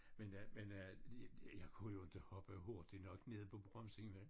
Men jeg men jeg det det jeg kunne jo inte hoppe hurtigt nok ned på bremsen vel